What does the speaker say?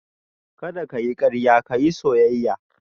Kada ka yi karya ka yi soyayya